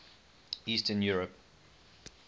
eastern europe